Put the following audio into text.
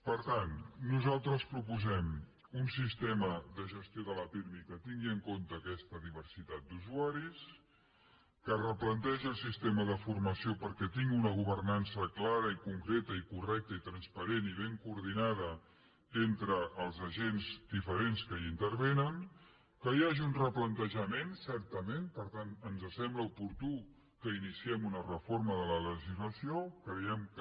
per tant nosaltres proposem un sistema de gestió de la pirmi que tingui en compte aquesta diversitat d’usua ris que es replantegi el sistema de formació perquè tingui una governança clara i concreta i correcta i transparent i ben coordinada entre els agents diferents que hi intervenen que hi hagi un replantejament certament per tant ens sembla oportú que iniciem una reforma de la legislació creiem que